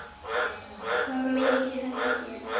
þá var mikið hlegið.